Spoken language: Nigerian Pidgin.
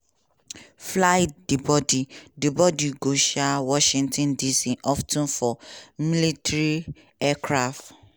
fly di bodi di bodi go um washington dc of ten for military aircraft.